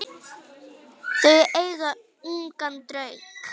Þau eiga ungan dreng.